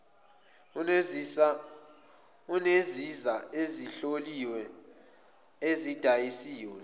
eneziza ezihloliwe ezidayisiwe